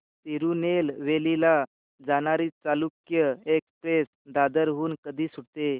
तिरूनेलवेली ला जाणारी चालुक्य एक्सप्रेस दादर हून कधी सुटते